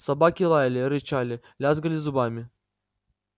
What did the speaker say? собаки лаяли рычали лязгали зубами